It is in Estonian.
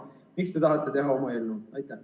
Miks te tahate teha oma eelnõu?